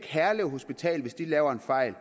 herlev hospital laver en fejl